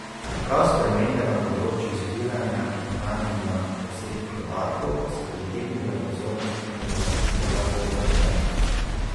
Prav spremembe na področju zbiranja in hranjenja osebnih podatkov so pritegnile pozornost informacijskega pooblaščenca.